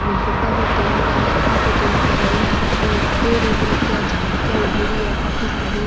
और बड़ा भी टेंट है काफी टेंट लगाईडा रखे है और पेड़ उग रखे है झाडिया उगेडी है काफी सारी।